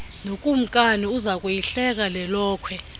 nokumkani uzakuyihleka lelokhwe